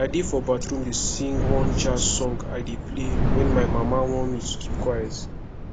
i dey for bathroom dey sing one jazz song i dey play wen my mama warn me to keep quiet